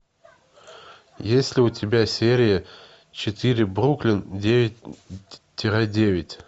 есть ли у тебя серия четыре бруклин девять тире девять